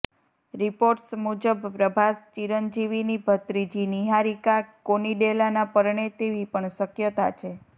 reports મુજબ પ્રભાસ ચિરંજીવીની ભત્રીજી નિહારિકા કોનિડેલાને પરણે તેવી પણ શક્યતા છે